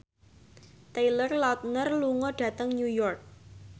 Taylor Lautner lunga dhateng New York